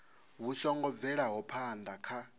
vhu songo bvelaho phana kha